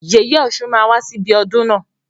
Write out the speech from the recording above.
Yèyè ọ̀ṣun máa wá sí ibi ọdún na.